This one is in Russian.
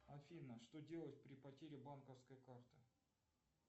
афина что делать при потере банковской карты